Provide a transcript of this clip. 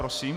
Prosím.